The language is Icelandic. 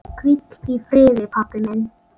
Hvíl í friði, pabbi minn.